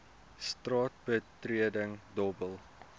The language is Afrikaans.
straat betreding dobbel